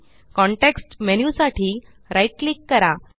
context menu साठी right click करा